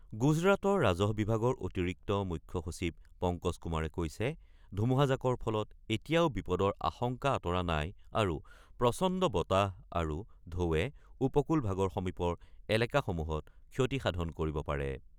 গুজৰাটৰ ৰাজহ বিভাগৰ অতিৰিক্ত মুখ্য সচিব পংকজ কুমাৰে কৈছে ধুমুহাজাকৰ ফলত এতিয়াও বিপদৰ আশংকা আতৰা নাই আৰু প্ৰচণ্ড বতাহ আৰু ঢৌৱে উপকূল ভাগৰ সমীপৰ এলেকাসমূহত ক্ষতি সাধন কৰিব পাৰে।